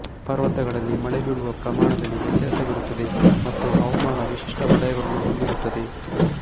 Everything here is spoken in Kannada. ಪರ್ವತಗಳಲ್ಲಿ ಮಳೆ ಬೀಳುವ ಪ್ರಮಾಣದಲ್ಲಿ ವ್ಯತ್ಯಾಸವಿರುತ್ತದೆ ಮತ್ತು ಹವಾಮಾನ ವಿಶಿಷ್ಟ ವಲಯಗಳನ್ನು ಹೊಂದಿರುತ್ತದೆ